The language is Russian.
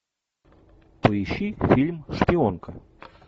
поищи фильм шпионка